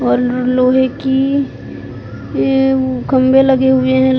और लोहे की की ए खंभे लगे हुए हैं।